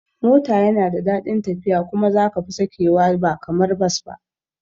Mota yana da dadin tafiya kuma za kafi sakewa ba kamar Bus ba